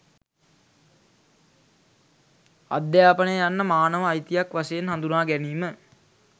අධ්‍යාපනය යන්න මානව අයිතියක් වශයෙන් හඳුනා ගැනීම